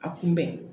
A kunbɛn